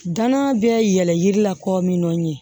Danaya bɛ yɛlɛn yiri la kɔmin nɔ ye